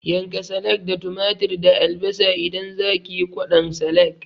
Yanka salak da tumatir da albasa idan zakiyi kwaɗon salak